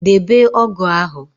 Debe ógụ̀ ahụ